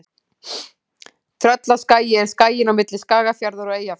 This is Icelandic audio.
Tröllaskagi er skaginn á milli Skagafjarðar og Eyjafjarðar.